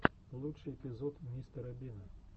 лучший эпизод мистера бина